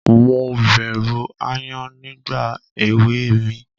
Mo bẹ̀rù aáyán nígbà èwe mi.